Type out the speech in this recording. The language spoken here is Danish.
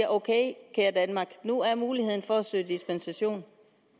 ok kære danmark nu er muligheden der for at søge dispensation